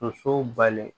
Musow bali